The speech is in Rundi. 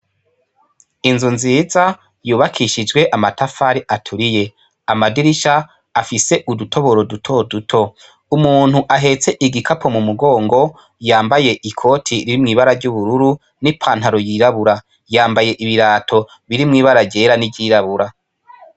Inzu nziza yubakishijwe amatafari aturiye amadirisha afise udutoboro duto duto umuntu ahetse igikapo mu mugongo yambaye ikoti ririmw'ibara ry'ubururu n'ipantaro yirabura yambaye ibirato birimwo ibara ryera n'iryirabura.